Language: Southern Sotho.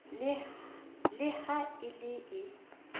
le ha e le e